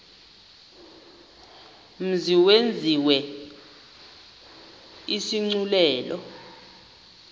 mzi yenziwe isigculelo